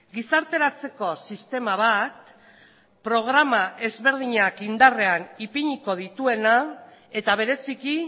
gizarteratzeko sistema bat programa ezberdinak indarrean ipiniko dituena eta bereziki